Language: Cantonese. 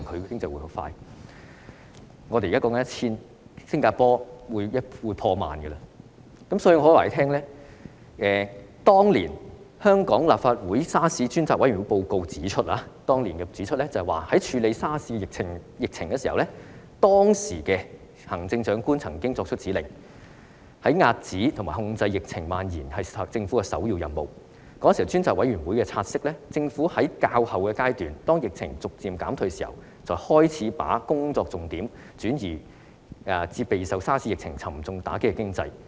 當年立法會調查政府與醫院管理局對嚴重急性呼吸系統綜合症爆發的處理手法專責委員會的報告指出，"在處理沙士疫情時，行政長官曾作出指令，指遏止及控制疫症蔓延是政府的首要任務......專責委員會察悉，政府只在較後階段，當疫情逐漸減退時，才開始把工作重點轉移至備受沙士疫情沉重打擊的經濟。